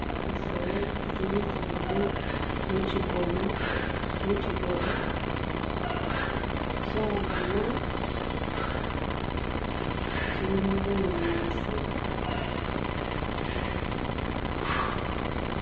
Zisolo zili zibili muchigona shayoma chilimo bunyasi.